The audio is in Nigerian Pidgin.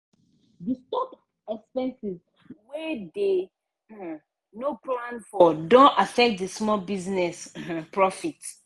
the stock expenses wey dey um no plan for don affect di small business um profit.